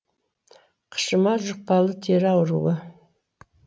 қышыма жұқпалы тері ауруы